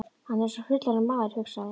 Hann er eins og fullorðinn maður, hugsaði